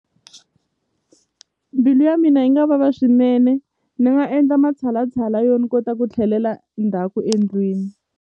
Mbilu ya mina yi nga vava swinene ni nga endla matshalatshala yo ni kota ku tlhelela ndzhaku endlwini.